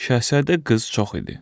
Şahzadə qız çox idi.